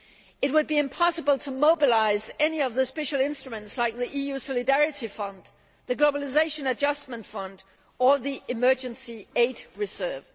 It would be impossible to mobilise any of the special instruments like the EU Solidarity Fund, the Globalisation Adjustment Fund, or the Emergency Aid Reserve.